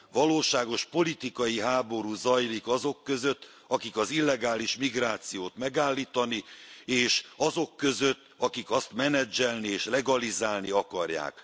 Valóságos politikai háború zajlik azok között, akik az illegális migrációt megállítani, és azok között, akik azt menedzselni és legalizálni akarják.